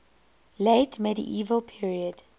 late medieval period